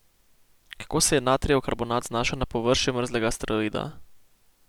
Kako se je natrijev karbonat znašel na površju mrzlega asteroida?